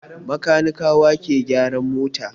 Kanikawa ke gyaran mota.